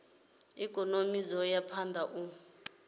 ikonomi dzo ya phanda u